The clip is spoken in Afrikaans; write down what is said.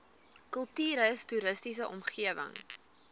kultuurhis toriese omgewing